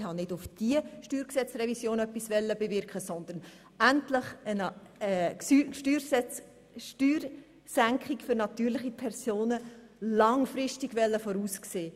Aber ich wollte nicht bei der anstehenden Steuergesetzrevision etwas bewirken, sondern endlich langfristig eine Steuersenkung für natürliche Personen vorsehen.